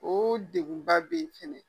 O degunba bɛ yen fɛnɛ